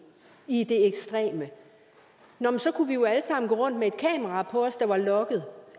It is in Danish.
i det ekstreme kunne vi jo alle sammen gå rundt med et kamera på os der var logget